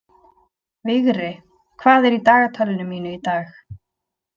Vigri, hvað er í dagatalinu mínu í dag?